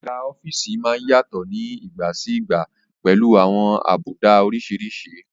Àga ọ́fíìsì má ń yàtọ̀ ní ìgbà sí ìgbà pẹ̀lú àwọn àbùdá oríṣiríṣi